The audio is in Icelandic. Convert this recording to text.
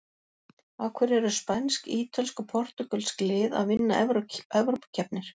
Af hverju eru spænsk, ítölsk og portúgölsk lið að vinna evrópukeppnir?